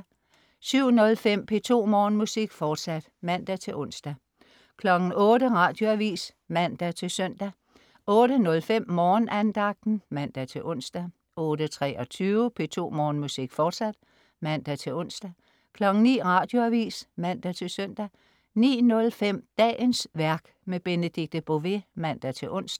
07.05 P2 Morgenmusik, fortsat (man-ons) 08.00 Radioavis (man-søn) 08.05 Morgenandagten. (man-ons) 08.23 P2 Morgenmusik, fortsat (man-ons) 09.00 Radioavis (man-søn) 09.05 Dagens værk. Benedikte Bové (man-ons)